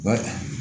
U b'a ta